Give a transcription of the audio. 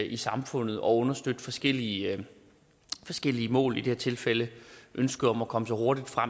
i samfundet og understøtte forskellige forskellige mål i det her tilfælde ønsket om at komme så hurtigt fra